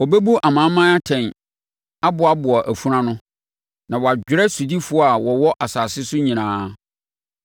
Ɔbɛbu amanaman atɛn aboaboa afunu ano; na wadwerɛ sodifoɔ a wɔwɔ asase so nyinaa.